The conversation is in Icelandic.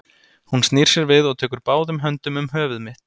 Hún snýr sér við og tekur báðum höndum um höfuð mitt.